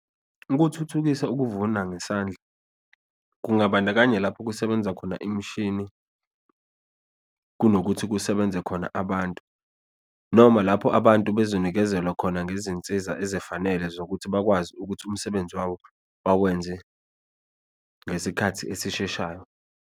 Ukuthuthukisa ukuvuna ngesandla, kungabandakanya lapho kusebenza khona imishini kunokuthi kusebenze khona abantu, noma lapho abantu bazonikezelwa khona ngezinsiza ezifanele zokuthi bakwazi ukuthi umsebenzi wawo bawenze ngesikhathi esisheshayo.